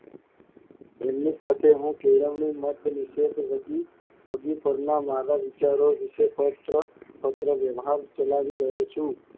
એની સાથે હું કેળવણી મારા વિચારો વિષે પત્ર, પત્ર વ્યવહાર ચલાવી રહ્યો છું.